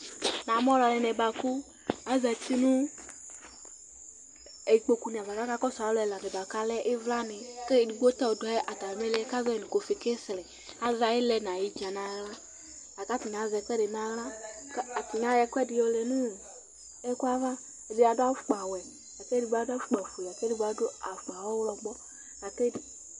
Namu alʋ ɛdɩnɩ bʋakʋ azǝtɩ nʋ ikpokuni ava kʋ aka kɔsʋ alu ɛdɩnɩ bʋakʋ alɛ ivlani Kʋ edigbo ta ɔdʋ atami ili kʋ azɛ ayɩlɛ nʋ ayidzǝni nʋ aɣla Akʋ atani azɛ ɛkʋedɩ nʋ aɣla Akʋ atani ayɔ ɛkʋɛdɩ lɛ nʋ ɛkʋava Ɛdɩ adʋ afʋkpawɛ, kʋ edigbo adu afʋkpafue, kʋ edigbo adʋ afʋkpa ɔɣlɔmɔ